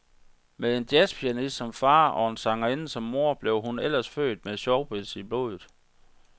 Med en jazzpianist som far og en sangerinde som mor blev hun ellers født med showbiz i blodet.